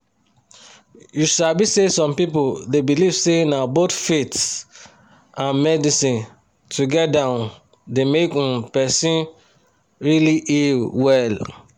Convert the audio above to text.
you sabi say some people dey believe say na both faith and medicine together dey um make um person really heal well.